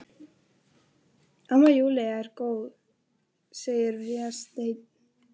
Amma Júlía er góð, segir Vésteinn.